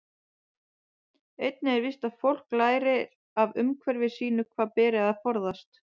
Einnig er víst að fólk lærir af umhverfi sínu hvað beri að forðast.